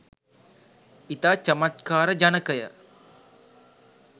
ඉතා චමත්කාර ජනකය.